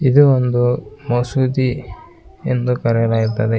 ಇದು ಒಂದು ಮಸೂದಿ ಎಂದು ಕರೆಯಲಾಗುತ್ತದೆ.